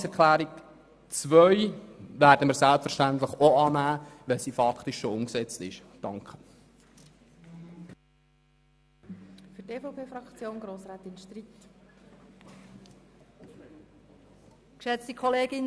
Die Planungserklärung 2 werden wir selbstverständlich auch annehmen, weil sie faktisch bereits umgesetzt ist.